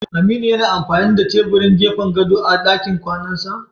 Aminu yana amfani da tebirin gefen gado a dakin kwanansa?